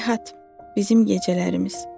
Heyhat, bizim gecələrimiz.